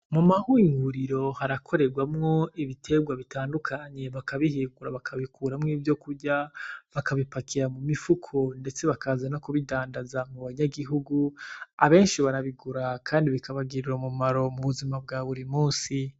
Mu mahinguriro harakoregwamwo ibiterwa bitandukanye bakabihekura bakabikuramwo ivyokurya bakabipakira mu mifuko ndetse bakaza nokubidandaza mubanyagihugu abenshi barabigura kandi bikabagirira umumaro mubuzima bwa burimunsi.